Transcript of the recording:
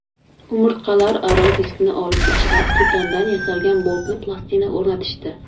Umurtqalararo diskni olib tashlab, titandan yasalgan boltli plastina o‘rnatishdi.